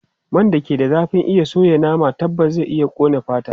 Man da ke da zafin iya soya nama tabbas zai iya ƙone fata.